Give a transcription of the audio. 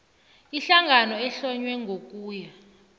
ihlangano ehlonywe ngokuya